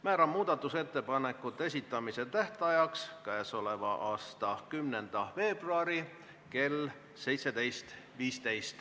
Määran muudatusettepanekute esitamise tähtajaks k.a 10. veebruari kell 17.15.